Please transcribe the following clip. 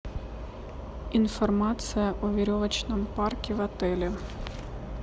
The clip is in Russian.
информация о веревочном парке в отеле